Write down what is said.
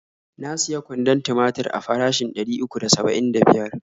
Na siya kwandon timatir a farashin ɗari uku da saba'in da biyar.